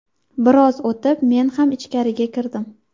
Biroz o‘tib men ham ichkariga kirdim.